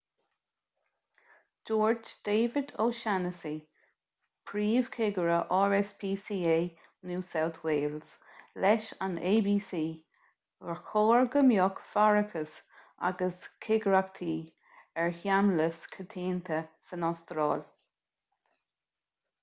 dúirt david o'shannessy príomhchigire rspca new south wales leis an abc gur chóir go mbeadh faireachas agus cigireachtaí ar sheamlais coitianta san astráil